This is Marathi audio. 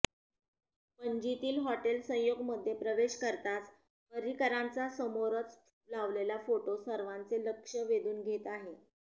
पणजीतील हॉटेल संयोगमध्ये प्रवेश करताच पर्रीकरांचा समोरच लावलेला फोटो सर्वांचे लक्ष वेधून घेत आहे